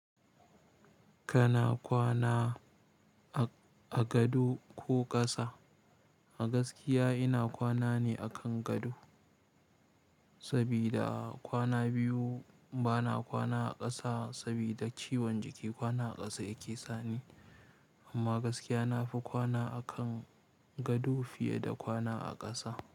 Kana kwana a, a gado ko ƙasa? A gaskiya ina kwana ne akan gado, sabida kwana biyu bana kwana a ƙasa sabida ciwon jiki kwana a ƙasa yake sani. Amma gaskiya na fi kwana a kan gado fiye da kwana a ƙasa.